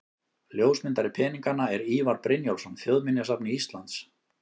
Ljósmyndari peninganna er Ívar Brynjólfsson, Þjóðminjasafni Íslands.